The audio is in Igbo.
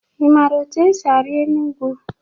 Ị mara etu esi ari enu ugwu?